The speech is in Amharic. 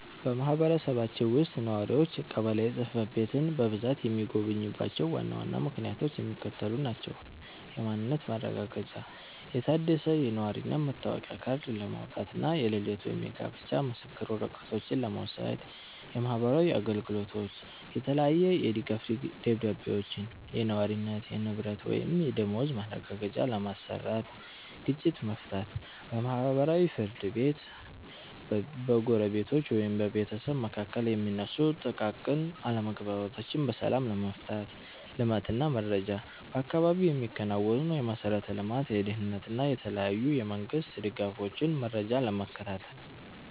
በማህበረሰባችን ውስጥ ነዋሪዎች ቀበሌ ጽሕፈት ቤትን በብዛት የሚጎበኙባቸው ዋና ዋና ምክንያቶች የሚከተሉት ናቸው፦ የማንነት ማረጋገጫ፦ የታደሰ የነዋሪነት መታወቂያ ካርድ ለማውጣት እና የልደት ወይም የጋብቻ ምስክር ወረቀቶችን ለመውሰድ። የማህበራዊ አገልግሎት፦ የተለያየ የድጋፍ ደብዳቤዎችን (የነዋሪነት፣ የንብረት ወይም የደመወዝ ማረጋገጫ) ለማሰራት። ግጭት መፍታት፦ በማህበራዊ ፍርድ ቤት በጎረቤቶች ወይም በቤተሰብ መካከል የሚነሱ ጥቃቅን አለመግባባቶችን በሰላም ለመፍታት። ልማት እና መረጃ፦ በአካባቢው የሚከናወኑ የመሠረተ ልማት፣ የደህንነት እና የተለያዩ የመንግስት ድጋፎችን መረጃ ለመከታተል።